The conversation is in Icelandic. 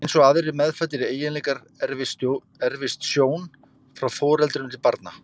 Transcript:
Eins og aðrir meðfæddir eiginleikar erfist sjón frá foreldrum til barna.